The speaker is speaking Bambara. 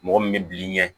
Mɔgɔ min bɛ bil'i ɲɛ